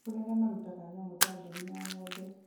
nĩ kũrĩ arĩa marutaga nyamũ ta mbũri na ng'ombe